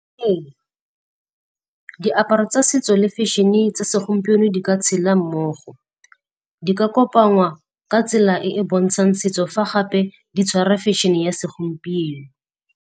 Ee, diaparo tsa setso le fashion-e tsa segompieno di ka tshela mmogo. Di ka kopangwa ka tsela e e bontshang setso fa gape di tshwara fashion-e ya segompieno.